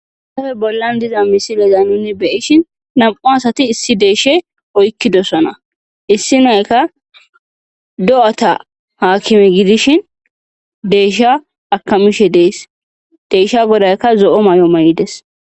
Haysappe bollan diza misileza nuni beyishin nam7u asati issi deyeshe oykkidosana issi nayka do7ata haakime gidishin deesha akamishe dees deesha godaykka zo7o may7o may7ides